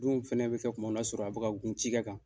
dun fɛnɛ bɛ kɛ kuma min o y'a sɔrɔ a bɛ ka gun cikɛ kan.